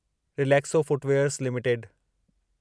Relaxo footwears limited